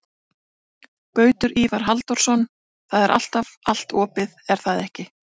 Gautur Ívar Halldórsson: Það er alltaf allt opið, er það ekki?